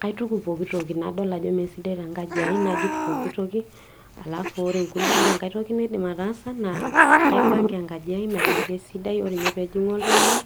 kaituku pooki toki nadol ajo mesidai naituku najut ore enkae toki naidim ataasa naa kaipanga engaji ai meeta kisidai , ore pee ejung'u oltung'ani